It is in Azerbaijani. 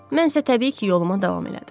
Mən isə təbii ki, yoluma davam elədim.